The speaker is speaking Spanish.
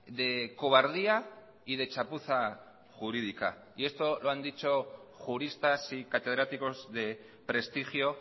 de cobardía y de chapuza jurídica y esto lo han dicho juristas y catedráticos de prestigio